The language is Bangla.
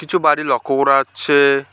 কিছু বাড়ি লক্ষ্য করা যাচ্ছে।